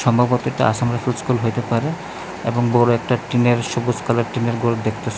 সম্ভবত এটা আসামের একটা স্কুল হইতে পারে এবং বড় একটা টিনের সবুজ কালার টিনের ঘর দেখতা--